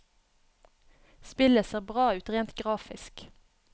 Spillet ser bra ut rent grafisk.